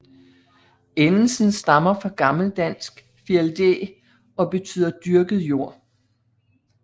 Endelsen stammer fra gammeldansk Fialdæ og beytder dyrket jord